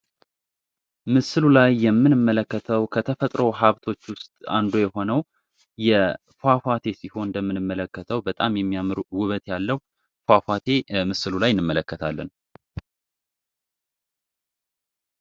ምሰሉ ላይ የምንመለከተው ከተፈጥሮ ሀብቶች ውስጥ አንዱ የሆነው ፏፏቴ ሲሆን የምንመለከተው በጣም የሚያምር ፏፏቴ ምስሉ ላይ እንመለከታለን።